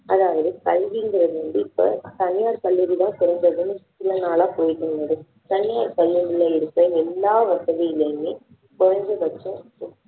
அதாவது கல்விங்குறது வந்து இப்போ தனியார் பள்ளிகள் தான் சிறந்ததுன்னு சில நாளா போயிட்டு இருந்தது தனியார் பள்ளிகளில இருக்க எல்லா வசதிகளுமே குறைஞ்சபட்சம்